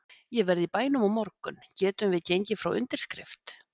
Ég verð í bænum á morgun getum við gengið frá undirskrift?